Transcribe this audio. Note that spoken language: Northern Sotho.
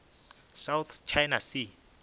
south china sea